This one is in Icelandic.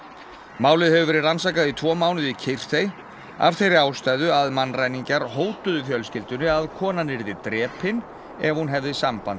málið hefur verið rannsakað í tvo mánuði í kyrrþey af þeirri ástæðu að mannræningjar hótuðu fjölskyldunni að konan yrði drepin ef hún hefði samband